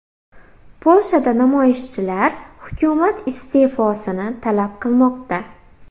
Polshada namoyishchilar hukumat iste’fosini talab qilmoqda.